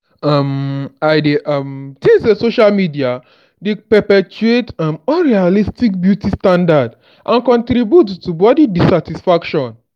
um i dey um think say social media dey perpetuate um unrealistic beauty standards and contribute to body dissatisfaction.